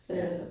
Ja